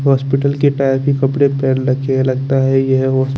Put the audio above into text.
hospital के टायर की कपड़े पेहन रखे है लगता ये होश--